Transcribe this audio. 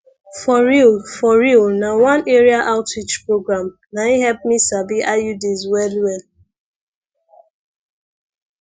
for real for real na one area outreach program nai help me sabi iuds well well